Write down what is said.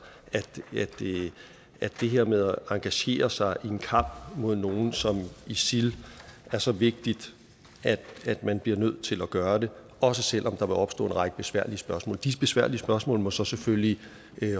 det her med at engagere sig i en kamp mod nogle som isil er så vigtigt at man bliver nødt til at gøre det også selv om der vil opstå en række besværlige spørgsmål de besværlige spørgsmål må så selvfølgelig